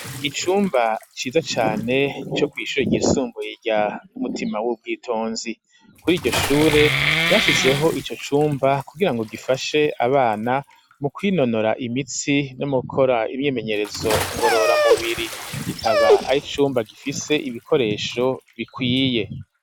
Icumba ciza cane co kwishure ryisumbuye rya mutima w'ubwitonzi kuri iryo shure bashizeho ico cumba kugirango gifashe abana mu kwinonora imitsi no mugukora imyimenyerezo ngorora mubiri kikaba ari cumba gifise ibikoresho bikwiye.